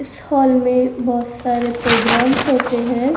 इस हॉल में बहोत सारे प्रोग्राम्स होते हैं।